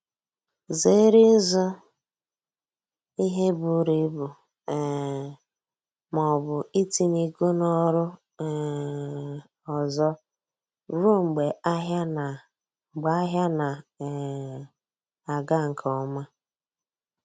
Zere ịzụ ihe buru ibu um ma ọbụ itinye ego na oru um ọzọ ruo mgbe ahịa na mgbe ahịa na um aga nke ọma